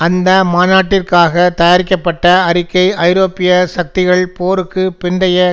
அந்த மாநாட்டிற்காக தயாரிக்கப்பட்ட அறிக்கை ஐரோப்பிய சக்திகள் போருக்கு பிந்தைய